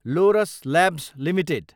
Lord's Labs Ltd